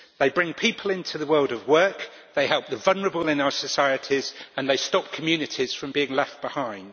They bring people into the world of work, they help the vulnerable in our societies and they stop communities from being left behind.